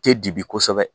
Te dibi kosɛbɛ